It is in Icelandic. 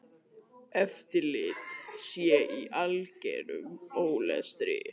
Eftirlit sé í algerum ólestri.